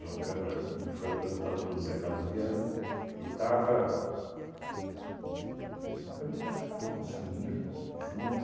Câmara me foi apresentado pelo Zé Carlos Vianna e estava... João Câmara, acho que estava com o Samico junto.